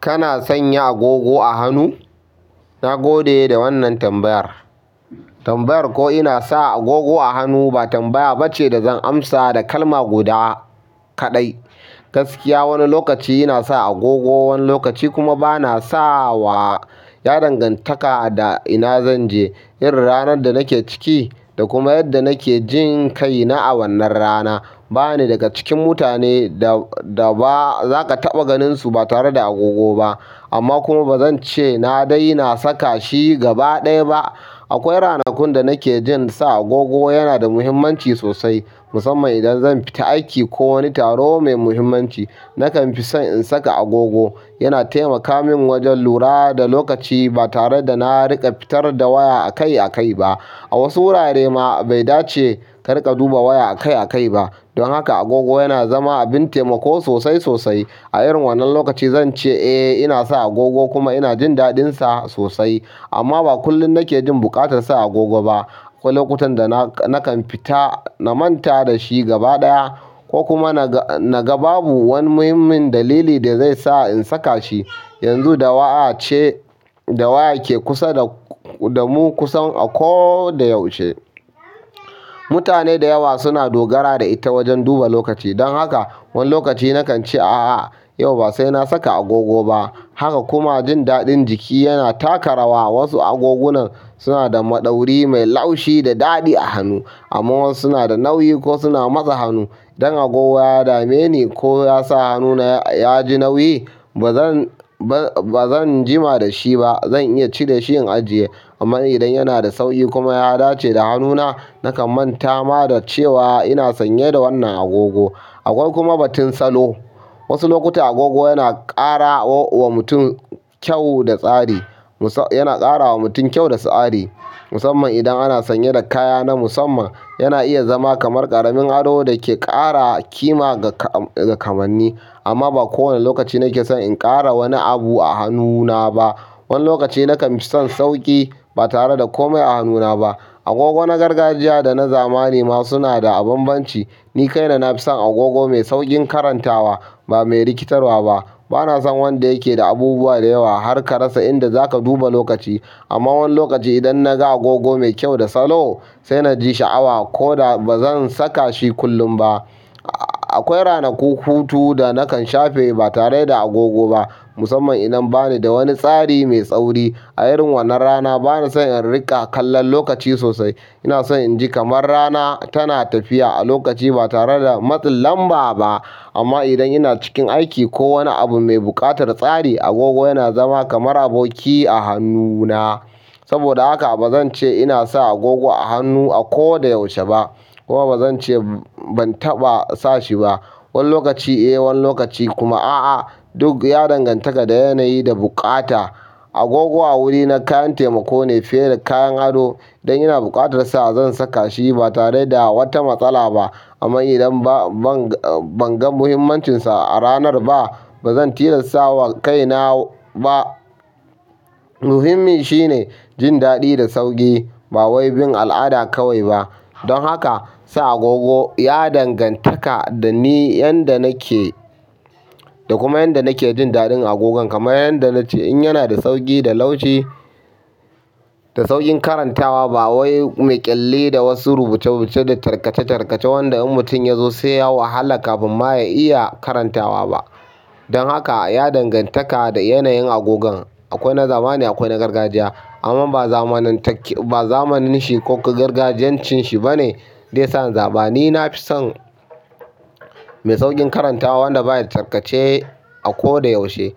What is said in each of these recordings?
Kana san ya agogo a hannu? Na gode da wannan tambayar. Tambayar ko ina sa agogo a hannu ba tambaya ba ce da zan amsa da kalma guda kaɗai. Gaskiya wani lokaci ina sa agogo, wani lokaci kuma bana sa wa, ya dangantaka da ina zan je, irin ranar da nake ciki, da kuma yadda nake jin kaina a wannan rana. Ba ni daga cikin mutane da, da ba za ka taɓa ganinsu ba tare da agogo ba. Amma kuma ba zan ce na daina saka shi gaba ɗaya ba. Akwai rana kun da nake jin sa agogo yana da muhimmanci sosai, musamman idan zan fita aiki ko wani taro mai muhimmanci. Nakan fi son in saka agogo, yana taimaka min wajen lura da lokaci ba tare da na riƙa fitar da waya a kai a kai ba. A wasu wurare ma bai dace kar ka duba waya a kai a kai ba. Don haka agogo yana zama abin taimako sosai sosai. A irin wannan lokaci zan ce eh ina sa agogo kuma ina jin daɗin sa sosai. Amma ba kullum nake jin buƙatar sa agogo ba. Akwai lokutan da na, nakan fita na manta da shi gaba ɗaya ko kuma na ga, na ga babu wani muhimmin dalili da zai sa in saka shi. Yanzu dawa ce, da waya ke kusa da k, da mu ku san a ko da yaushe. Mutane da yawa suna dogara da ita wajen duba lokaci. Don haka wani lokaci nakan ce a'a yau ba sai na saka agogo ba. Haka kuma jin daɗin jiki yana taka rawa. Wasu agogona suna da maɗauri mai laushi da daɗi a hannun, amman wasu suna da nauyi kuma suna matse hannu. Dan agogo ya dame ni ko ya sa hannuna ya ji nauyi. Ba zan, ba zan za jima da shi ba. Zan iya cire shi in ajiye. Amma idan yana da sauƙi kuma ya dace da hannuna nakan manta ma da cewa ina sanye da wannan agogo. Akwai kuma batun salo. Wasu lokuta agogo yana ƙara wa mutum kyau da tsari. Musa, yana ƙara ma mutum kyau da sa'a di, musamman indan ana sanye da kaya na musamman yana iya zama kamar ƙaramin ado da ke ƙara ƙima ga kamanni. Amma ba kowane lokaci nake son in ƙara wani abu a hannuna ba. Wani lokaci nakan fi son sauƙi ba tare da komau a hannuna ba. Agogo na gargajiya da na zamani ma suna da bambanci. Ni kai na, na fi son agogo mai sauƙin karantawa, ba mai rikitarwa ba. Bana son wanda yake da abubuwa da yawa, har ka rasa inda za ka duba lokaci. Amma wani lokaci idan na ga agogo mai kyau da salo sai na ji sha'awa ko da ba zan saka shi kullum ba. Akwai rana ku hutu da nakan shafe ba tare da agogo ba musamman idan ba ni da wani tsari mai tsauri. A irin wannan rana bana son in riƙa kallon lokaci sosai. Ina son in ji kamar rana tana tafiya a lokaci ba tare da matsin lamba ba. Amma idan ina cikin aiki ko wani abu mai buƙatar tsari agogo yana zama kamar aboki a hannuna. Saboda haka ba zan ce ina sa agogo a hannu a ko da yaushe ba kuma ba zan ce ban taɓa sa shi ba. Wani lokaci eh wani lokaci kuma a'a. Duk ya dangantaka da yanayi da buƙata. Agogo a wuri na kayan taimako ne fiye da kayan ado. Idan yana buƙatar sa zan saka shi ba tare da wata matsala ba. Amma idan ba, ban, ban ga muhimmancinsa a ranar ba ba zan tilasta wa kaina ba. Muhimmin shine jin daɗi da sauƙi, ba wai bin al'ada kawai ba, don haka sa agogo ya dangantaka da ni yanda nake da kuma yanda nake ji daɗin agogon kamar yanda nace in yana da sauƙi da laushi da sauƙin karantawa ba wai mai ƙyalle da wasu rubuce-rubuce da tarkace-tarkace wanda in mutum ya zo sai ya wahala kafin ma ya iya karantawa ba. Don haka ya dangantaka da yanayin agogon. Akwai na zamani akwai na gargajiya. Amma ba zamanin take, ba zamanin shi ko gargajiyancin shi bane de sa in zaɓi. Ni nafi son, mai sauƙin karantawa wanda ba yaɗa takarce a ko da yaushe.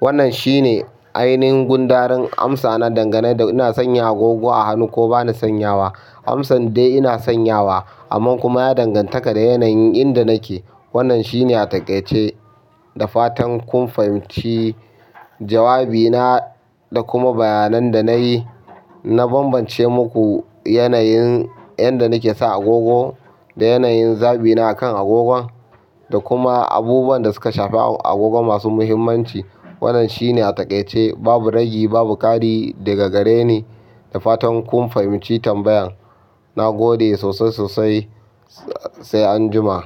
Wannan shine ainihin gundarin amsa na dangane da ina sanya agogo a hannu ko bani sanyawa. Amsan dai ina sanyawa, amma kuma ya dangantaka da yanayin inda nake. Wannan shine a taƙaice da fatan kun fahimci jawabi na da kuma bayanan da na yi. Na bambance muku yanayin yanda nake sa agogo da yanayin zaɓi na a kan agogon da kuma abubuwan da suka shafi agogon masu muhimmanci. Wannan shine a taƙaice. Babu ragi babu ƙari daga gare ni. Da fatan kun fahimci tambayan. Na gode sosai sosai sai anjima.